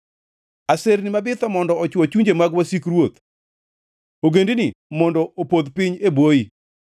Aserni mabitho mondo ochwo chunje mag wasik ruoth; ogendini mondo opodh piny e bwoyi.